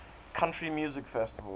country music festival